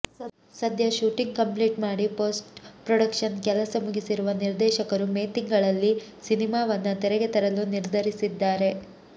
ಸದ್ಯ shooting complete ಮಾಡಿ post production ಕೆಲಸ ಮುಗಿಸಿರುವ ನಿರ್ದೇಶಕರು ಮೇ ತಿಂಗಳಲ್ಲಿ ಸಿನಿಮಾವನ್ನ ತೆರೆಗೆ ತರಲು ನಿರ್ಧರಿಸಿದ್ದಾರೆ